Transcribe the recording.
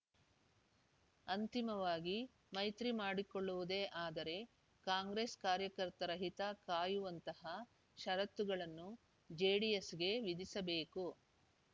ಅಂತಿಮವಾಗಿ ಮೈತ್ರಿ ಮಾಡಿಕೊಳ್ಳುವುದೇ ಆದರೆ ಕಾಂಗ್ರೆಸ್‌ ಕಾರ್ಯಕರ್ತರ ಹಿತ ಕಾಯುವಂತಹ ಷರತ್ತುಗಳನ್ನು ಜೆಡಿಎಸ್‌ಗೆ ವಿಧಿಸಬೇಕು